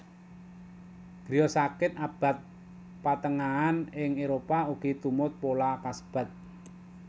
Griya sakit abad patengahan ing Éropah ugi tumut pola kasebat